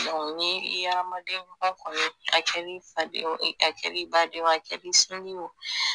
ni i ye adamadenba kɔni ye a kɛr'i faden ye a kɛr'i baden ye a kɛr'i sinji ye o